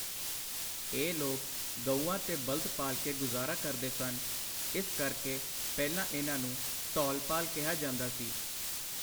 ਇਹ ਲੋਕ ਗਊਆਂ ਤੇ ਬਲ਼ਦ ਪਾਲ ਕੇ ਗੁਜਾਰਾ ਕਰਦੇ ਸਨ, ਇਸ ਕਰਕੇ ਪਹਿਲਾਂ ਇਹਨਾਂ ਨੂੰ ਧੌਲਪਾਲ ਕਿਹਾ ਜਾਂਦਾ ਸੀ।